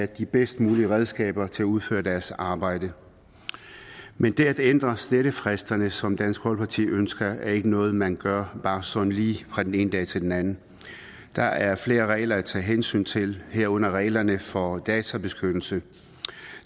de bedst mulige redskaber til at udføre deres arbejde men det at ændre slettefristerne som dansk folkeparti ønsker er ikke noget man gør bare sådan lige fra den ene dag til den anden der er flere regler at tage hensyn til herunder reglerne for databeskyttelse